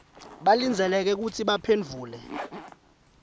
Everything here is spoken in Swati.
balindzeleke kutsi baphendvule